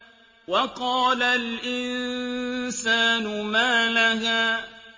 وَقَالَ الْإِنسَانُ مَا لَهَا